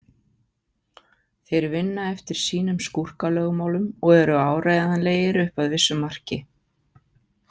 Þeir vinna eftir sínum skúrkalögmálum og eru áreiðanlegir upp að vissu marki.